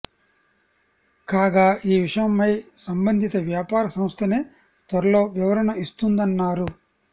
కాగా ఈ విషయమై సంబంధిత వ్యాపార సంస్థనే త్వరలో వివరణ ఇస్తుందన్నారు